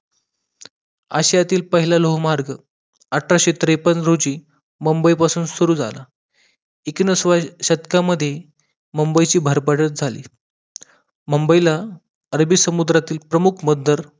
आशियातील पहिला लोहमार्ग अठराशे त्रेपन्न रोजी मुंबई पासून सुरु एकोणिसाव्या शतकामध्ये मुंबईची भरभराट झाली मुंबईला अरबी समुद्रातील प्रमुख बंदर